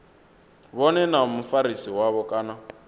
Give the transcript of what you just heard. vhone na mufarisi wavho kana